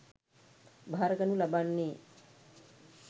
භාරගනු ලබන්නේ